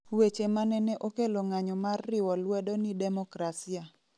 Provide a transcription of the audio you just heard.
weche manene okelo ng'anyo mar riwo lwedo ni demokrasia